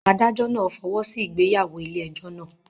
Adájọ́ náà fọwọ́ sí ìgbéyàwó ilé ẹjọ́ náà.